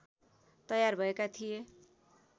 तयार भएका थिए